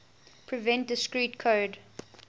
prevent discrete code